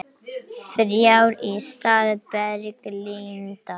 Þrjár í stað Berglindar